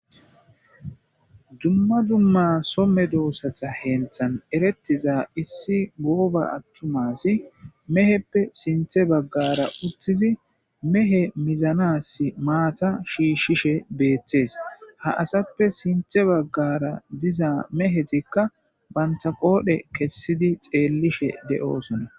Dumma dumma so medosata hentha eretiza issi goba attuma asiy meheppe sinthe bagara mehe muzanas matta shishishe Bette's. Ha asappe sinthe bagara diza mehetika banta qodhe kesidi xellishe de'osona.